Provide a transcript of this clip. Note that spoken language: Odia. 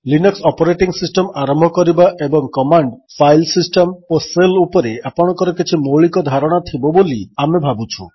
ଲିନକ୍ସ ଅପରେଟିଙ୍ଗ୍ ସିଷ୍ଟମ୍ ଆରମ୍ଭ କରିବା ଏବଂ କମାଣ୍ଡ୍ ଫାଇଲ୍ ସିଷ୍ଟମ୍ ଓ ଶେଲ୍ ଉପରେ ଆପଣଙ୍କର କିଛି ମୌଳିକ ଧାରଣା ଥିବ ବୋଲି ଆମେ ଭାବୁଛୁ